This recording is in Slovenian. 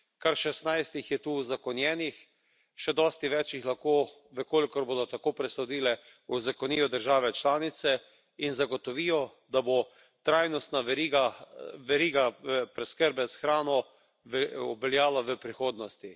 Kar šestnajst jih je tu uzakonjenih, še dosti več jih lahko, v kolikor bodo tako presodile, uzakonijo države članice, in zagotovijo, da bo trajnostna veriga, veriga preskrbe s hrano, obveljala v prihodnosti.